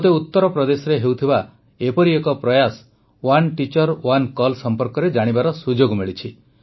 ମୋତେ ଉତ୍ତରପ୍ରଦେଶରେ ହେଉଥିବା ଏପରି ଏକ ପ୍ରୟାସ ୱାନ୍ ଟିଚର୍ ୱାନ୍ କଲ ସମ୍ପର୍କରେ ଜାଣିବାର ସୁଯୋଗ ମିଳିଛି